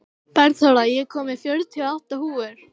Bergþóra, ég kom með fjörutíu og átta húfur!